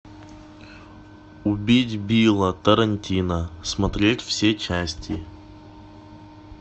убить билла тарантино смотреть все части